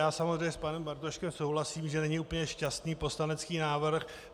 Já samozřejmě s panem Bartoškem souhlasím, že není úplně šťastný poslanecký návrh.